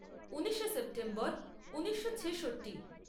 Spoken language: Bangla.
ঊনিশে সেপ্টেম্বর ঊনিশো ছেষট্টি